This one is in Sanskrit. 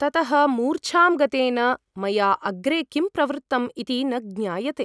ततः मूर्छ गतेन मया अग्रे किं प्रवृत्तम् इति न ज्ञायते ।